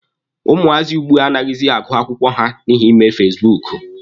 Ụmụazị ugbua anaghịzi agụ akwụkwọ ha n'ihi ime fasibuuku.